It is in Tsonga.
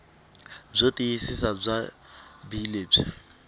byo tiyisisa bya bee lebyi